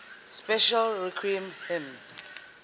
special requiem hymns